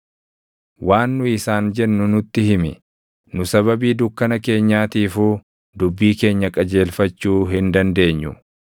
“Waan nu isaan jennu nutti himi; nu sababii dukkana keenyaatiifuu dubbii keenya qajeelfachuu hin dandeenyu.